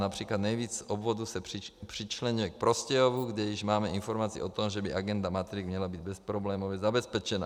Například nejvíc obvodů se přičleňuje k Prostějovu, kde již máme informaci o tom, že by agenda matrik měla být bezproblémově zabezpečena.